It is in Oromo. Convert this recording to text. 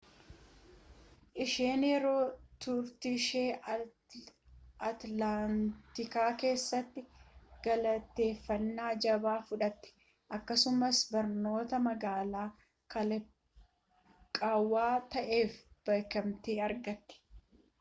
isheen yeroo turtiishee atilaantaa keessaatti galateeffannaa jabaa fudhatte akkasumas barnoota magaalaa kalaqaawaa ta'eef beekamtii argatte